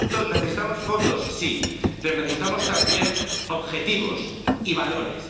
Por lo tanto, necesitamos fondos, sí, pero necesitamos también objetivos, y valores.